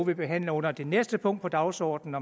vi behandler under det næste punkt på dagsordenen